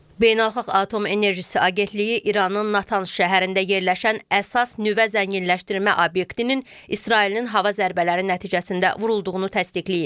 Beynəlxalq Atom Enerjisi Agentliyi İranın Natan şəhərində yerləşən əsas nüvə zənginləşdirmə obyektinin İsrailin hava zərbələri nəticəsində vurulduğunu təsdiqləyib.